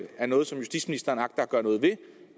er noget som justitsministeren agter at gøre noget ved